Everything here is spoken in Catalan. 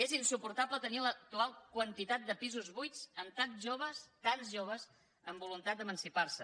és insuportable tenir l’actual quantitat de pisos buits amb tants joves tants joves amb voluntat d’emancipar se